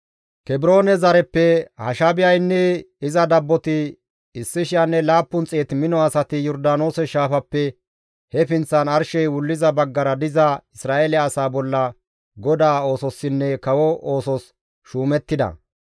Kebroone zareppe Hashaabiyaynne iza dabboti 1,700 mino asati Yordaanoose shaafappe he pinththan arshey wulliza baggara diza Isra7eele asaa bolla GODAA oososinne kawo oosos shuumettida.